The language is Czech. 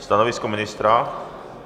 Stanovisko ministra?